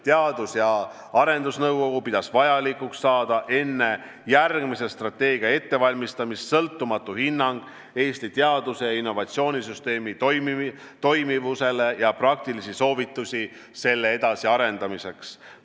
Teadus- ja Arendusnõukogu pidas vajalikuks saada enne järgmise strateegia ettevalmistamist sõltumatu hinnang Eesti teadus- ja innovatsioonisüsteemi toimivusele ja praktilisi soovitusi selle edasiarendamiseks.